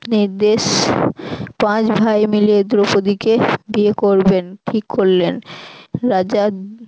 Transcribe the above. নির্দেশ পাঁচ ভাই মিলে দ্রৌপদিকে বিয়ে করবেন ঠিক করলেন রাজা